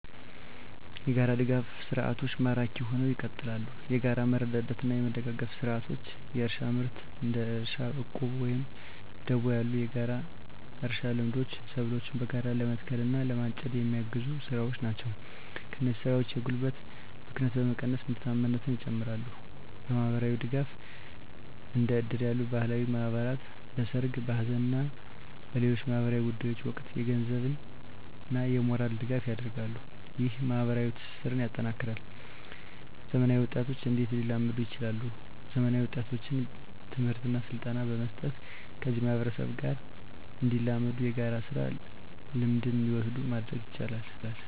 **የጋራ ድጋፍ ሰርዓቶች ማራኪ ሁነው ይቀጥላሉ፤ የጋራ መረዳዳትና መደጋገፍ ስርዓቶች: * እርሻና ምርት: እንደ እርሻ ዕቁብ ወይም ደቦ ያሉ የጋራ እርሻ ልምዶች ሰብሎችን በጋራ ለመትከል እና ለማጨድ የሚያግዙ ስራዎች ናቸው። እነዚህ ስራዎች የጉልበት ብክነትን በመቀነስ ምርታማነትን ይጨምራሉ። * ማህበራዊ ድጋፍ: እንደ እድር ያሉ ባህላዊ ማህበራት በሠርግ፣ በሐዘን እና በሌሎች ማኅበራዊ ጉዳዮች ወቅት የገንዘብና የሞራል ድጋፍ ያደርጋሉ። ይህ ማኅበራዊ ትስስርን ያጠናክራል። *ዘመናዊ ወጣቶች እንዴት ሊላመዱ ይችላሉ፤ ዘመናዊ ወጣቶችን ትምህርትና ስልጠና በመስጠት ከዚህ ማህበረሰብ ጋር እንዲላመዱና የጋራ ስራ ልምድን እንዲወስዱ ማድረግ ይቻላል።